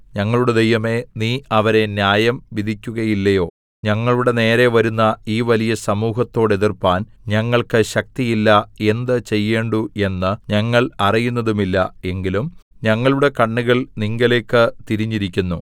ഞങ്ങളുടെ ദൈവമേ നീ അവരെ ന്യായം വിധിക്കുകയില്ലയോ ഞങ്ങളുടെ നേരെ വരുന്ന ഈ വലിയ സമൂഹത്തോടെതിർപ്പാൻ ഞങ്ങൾക്ക് ശക്തിയില്ല എന്ത് ചെയ്യേണ്ടു എന്ന് ഞങ്ങൾ അറിയുന്നതുമില്ല എങ്കിലും ഞങ്ങളുടെ കണ്ണുകൾ നിങ്കലേക്ക് തിരിഞ്ഞിരിക്കുന്നു